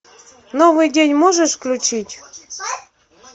новый день можешь включить